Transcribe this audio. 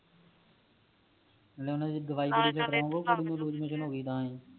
ਨਾਲੇ ਓਨਾ ਦੀ ਦਵਾਈ